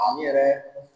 An yɛrɛ